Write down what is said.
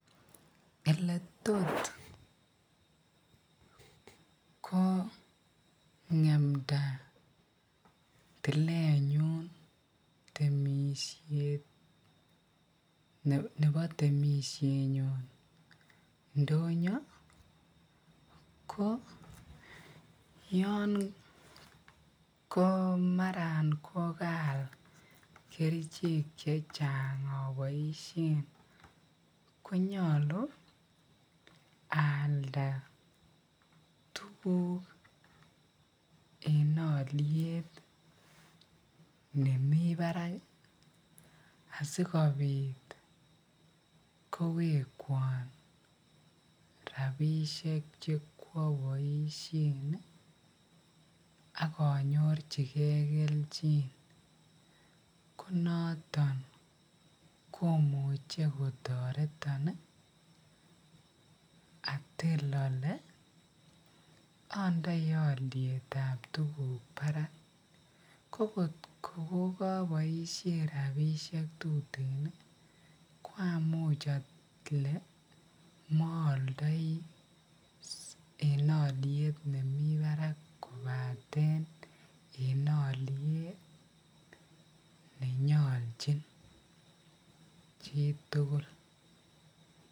Eletot ko ngemnda tilenyun temishet nebo timeshenyon ndonyo ko yoon ko maran kokaal kerichek chechaang oboishen ko nyolu aalda tukuk en oliet nemii barak asikobit kowekwon rabishek chekwoboishen ak anyorchike kelchin, ko noton komuche kotoreton atiil olee ondoi olietab tukuk barak ko kot ko kokoboishen rabishek tuten ko amuch olee mooldoi en oliet nemii barak kobaten en oliet nenyolchin chitukul.